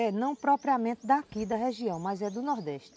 É, não propriamente daqui da região, mas é do Nordeste.